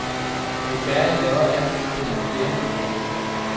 Jo færre jeg laver af dem, desto flere vil de have.